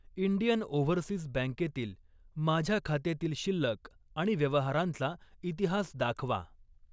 Indian overseas बँकेतील माझ्या खात्यातील शिल्लक आणि व्यवहारांचा इतिहास दाखवा.